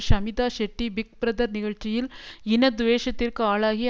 Shamita Shetty Big Brother நிகழ்ச்சியில் இன துவேஷத்திற்கு ஆளாகி